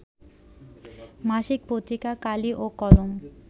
মাসিক পত্রিকা কালি ও কলম